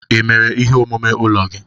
Ị mere ihe omume ụlọ gị?